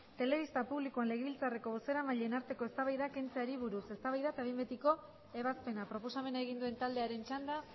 telebista publikoan legebiltzarreko bozeramaileen arteko eztabaidak kentzeari buruz eztabaida eta behin betiko ebazpena proposamena egin duen taldearen txanda